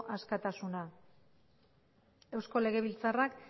askatasuna eusko legebiltzarrak